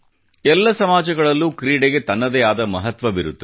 ಎಲ್ಲ ಸಮಾಜಗಳಲ್ಲೂ ಕ್ರೀಡೆಗೆ ತನ್ನದೇ ಆದ ಮಹತ್ವವಿರುತ್ತದೆ